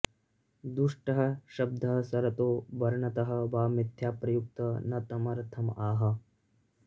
दुष्टः शब्दः स्वरतः वर्णतः वा मिथ्या प्रयुक्तः न तम् अर्थम् आह